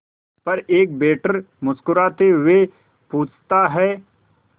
पर एक वेटर मुस्कुराते हुए पूछता है